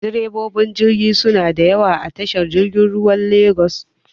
Direbobin jirgi suna da yawa a tashar jirgin ruwan legas.